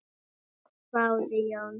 hváði Jón.